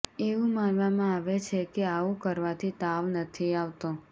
એવું માનવામાં આવે છે કે આવુ કરવાથી તાવ નથી આવતો